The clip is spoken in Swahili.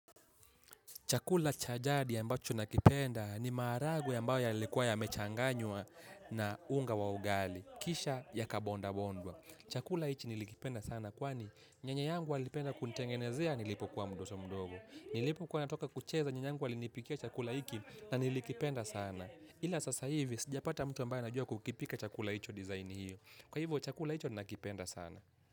Chakula cha jadi ya ambacho nakipenda ni maharagwe ambayo yalikuwa yamechanganywa na unga wa ugali. Kisha yakabondabondwa. Chakula hichi nilikipenda sana kwani nyanya yangu alipenda kunitengenezea nilipo kwa mtoto mdogo. Nilipokua natoka kucheza nyanya yangu alinipikia chakula hiki nanilikipenda sana. Ila sasa hivi sijapata mtu ambaye anajua kukipika chakula hicho design hiyo. Kwa hivyo chakula hicho nakipenda sana.